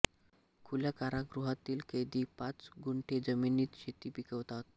खुल्या कारागृहातील कैदी पाच गुंठे जमिनीत शेती पिकवतात